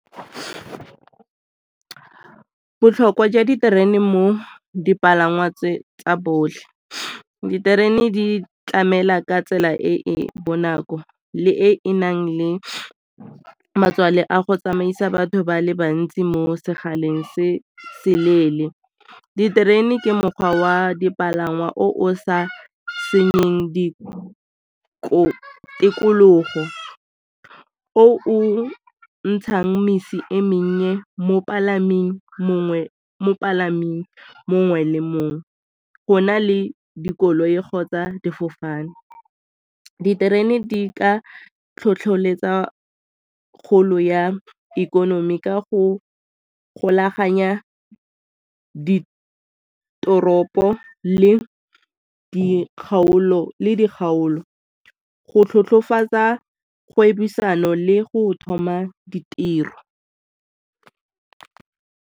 Botlhokwa jwa diterene mo dipalangwa tsa botlhe. Diterene di tlamela ka tsela e e bonako le e e nang le a go tsamaisa batho ba le bantsi mo sekgaleng se seleele. Diterene ke mokgwa wa dipalangwa o o sa senyeng tikologo, o o ntshang misi e mennye mongwe le mongwe, go na le dikoloi kgotsa difofane. Diterene di ka tlhotlheletsa kgolo ya ikonomi ka go golaganya ditoropo le di kgaolo, go kgwebisano le go thoma ditiro.